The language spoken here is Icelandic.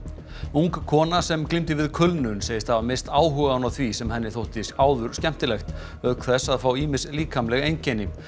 ung kona sem glímdi við kulnun segist hafa misst áhugann á því sem henni þótti áður skemmtilegt auk þess að fá ýmis líkamleg einkenni